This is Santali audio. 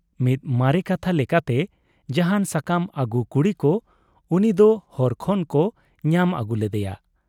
ᱢᱤᱫ ᱢᱟᱨᱮ ᱠᱟᱛᱷᱟ ᱞᱮᱠᱟᱛᱮ ᱡᱟᱦᱟᱱ ᱥᱟᱠᱟᱢ ᱟᱹᱜᱩ ᱠᱩᱲᱤ ᱠᱚ ᱩᱱᱤ ᱫᱚ ᱦᱚᱨ ᱠᱷᱚᱱ ᱠᱚ ᱧᱟᱢ ᱟᱹᱜᱩ ᱞᱮᱫᱮᱭᱟ ᱾